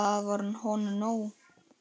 Það var honum nóg.